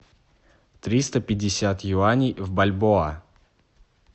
триста пятьдесят юаней в бальбоа